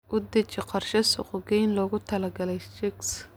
U deji qorshe suuqgeyn loogu talagalay chicks.